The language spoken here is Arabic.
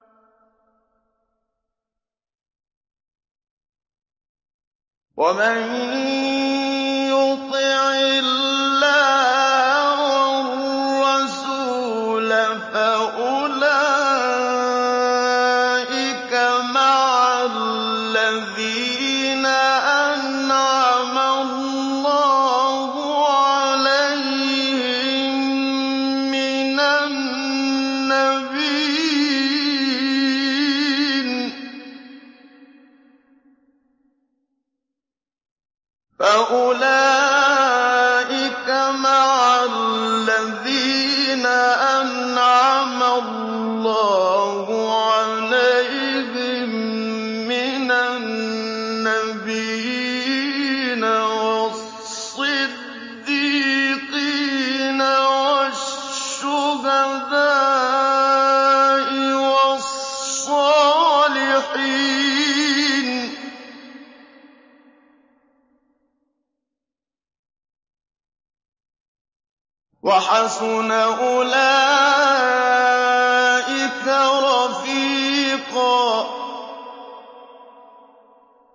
وَمَن يُطِعِ اللَّهَ وَالرَّسُولَ فَأُولَٰئِكَ مَعَ الَّذِينَ أَنْعَمَ اللَّهُ عَلَيْهِم مِّنَ النَّبِيِّينَ وَالصِّدِّيقِينَ وَالشُّهَدَاءِ وَالصَّالِحِينَ ۚ وَحَسُنَ أُولَٰئِكَ رَفِيقًا